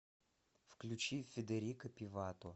включи федерико пивато